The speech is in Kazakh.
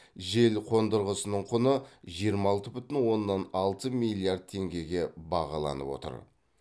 жел қондырғысының құны жиырма алты бүтін оннан алты миллиард теңгеге бағаланып отыр